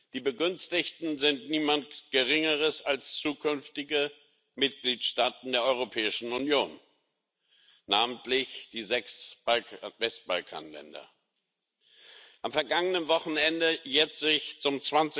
Die Begünstigten sind niemand Geringeres als zukünftige Mitgliedstaaten der Europäischen Union, namentlich die sechs Westbalkanländer. Am vergangenen Wochenende jährte sich zum